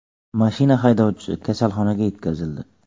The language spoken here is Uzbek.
Mashina haydovchisi kasalxonaga yetkazildi.